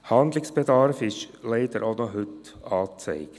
Handlungsbedarf ist leider auch noch heute angezeigt.